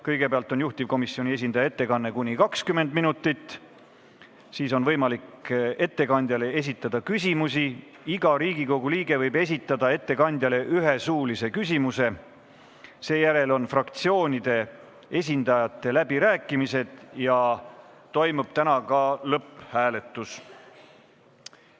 Kõigepealt on juhtivkomisjoni esindaja ettekanne , siis on võimalik ettekandjale esitada küsimusi, iga Riigikogu liige võib esitada ettekandjale ühe suulise küsimuse, seejärel on fraktsioonide esindajate läbirääkimised ja täna toimub ka lõpphääletus.